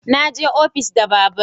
Na je ofis da babur